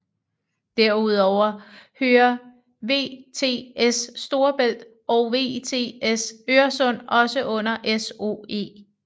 Derudover hører VTS Storebælt og VTS Øresund også under SOE